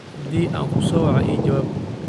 Haddii aan ku soo waco, ii jawaab